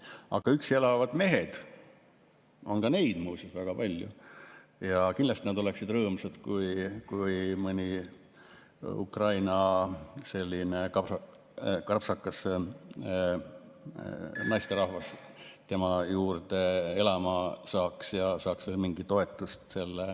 Aga üksi elavad mehed, on ka neid muuseas väga palju, ja kindlasti nad oleksid rõõmsad, kui mõni selline krapsakas Ukraina naisterahvas tema juurde elama asuks ja saaks veel mingit toetust.